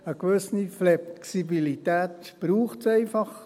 Eine gewisse Flexibilität braucht es einfach.